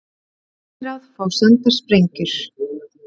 Sendiráð fá sendar sprengjur